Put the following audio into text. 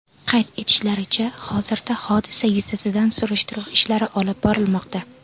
Qayd etishlaricha, hozirda hodisa yuzasidan surishtiruv ishlari olib borilmoqda.